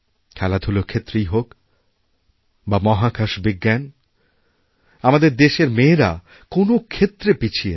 খেলাধুলার ক্ষেত্রেই হোক বা মহাকাশবিজ্ঞান আমাদের দেশের মেয়েরা কোনও ক্ষেত্রে পিছিয়ে নেই